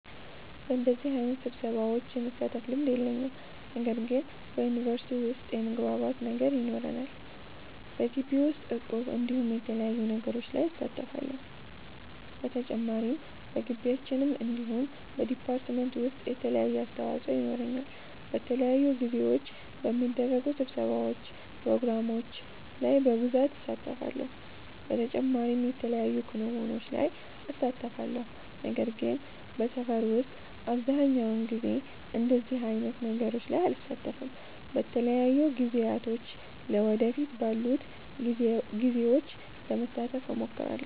በደዚህ አይነት ስብሰሻዎች የመሳተፍ ልምድ የለኝም። ነገር ግን በዩኒቨርሲቲ ዉስጥ የመግባባት ነገር ይኖረናል። በጊቢ ዉስጥ እቁብ እንዲሁም የተለያዩ ነገሮች ላይ እሳተፋለሁ። በተጨማሪም በጊቢያችን እንዲሁም በ ዲፓርትመንት ዉሰጥ የተለያየ አስተዋፆ የኖረኛል። በተለያዩ ጊዜዎች በሚደረጉ ስብሰባዎች ፕሮግራሞች ላይ በብሳት እሳተፋለሁ። በተጨማሪም የተለያዩ ክንዉኖች ላይ እሳተፋለሁ። ነገር ግን በሰፈር ዉስጥ አብዘሃኛዉ ጊዜ እንደዚህ አይነት ነገሮች ላይ አልሳተፍም። በተለያዩ ጊዜያቶች ለ ወደፊት ባሉት ጊዜዎች ለመሳተፍ እሞክራለሁ